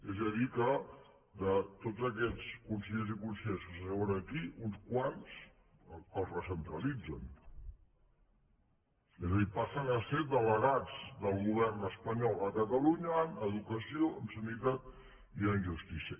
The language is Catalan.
és a dir que de tots aquests consellers i conselleres que s’asseuen aquí uns quants els recentralitzen és a dir passen a ser delegats del govern espanyol a catalunya en educació en sanitat i en justícia